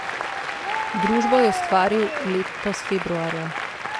Družbo je ustvaril letos februarja.